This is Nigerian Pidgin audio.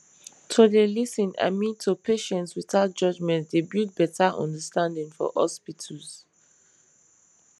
to dey lis ten i mean to patients without judgement dey build better understanding for hospitals